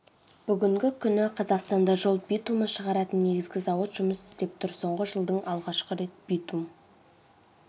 бүгінгі күні қазақстанда жол битумын шығаратын негізгі зауыт жұмыс істеп тұр соңғы жылдың алғаш рет битум